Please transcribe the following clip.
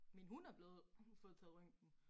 Min hund er blevet fået taget røntgen